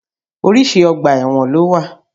Oríṣi ọgbà ẹ̀wọ̀n ló wà.